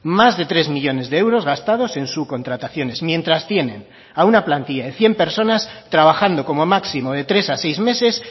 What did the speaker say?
más de tres millónes de euros gastados en subcontrataciones mientras tienen a una plantilla de cien personas trabajando como máximo de tres a seis meses